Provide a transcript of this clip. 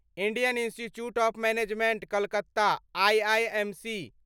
Indian Institute of Management Calcutta IIMC